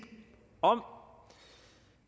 om